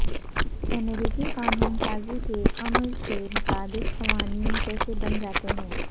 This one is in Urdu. امریکی قانون سازی کے عمل کے مطابق قوانین کیسے بن جاتے ہیں